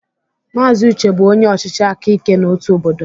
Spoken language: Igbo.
Mazị Uche bụ onye ọchịchị aka ike na otu obodo.